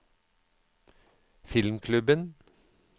filmklubben